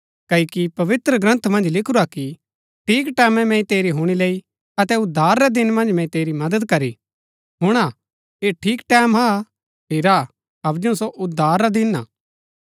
क्ओकि पवित्रग्रन्था मन्ज लिखुरा कि ठीक टैमैं मैंई तेरी हुणी लैई अतै उद्धार रै दिन मन्ज मैंई तेरी मदद करी हुणा ऐह ठीक टैमं हा हेरा हबजु सो उद्धार रा दिन हा